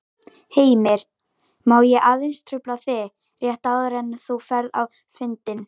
Heimir: Má ég aðeins trufla þig rétt áður en þú ferð á fundinn?